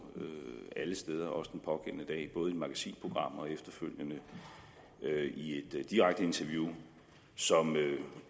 alle steder også den pågældende dag både i et magasinprogram og efterfølgende i et direkte interview som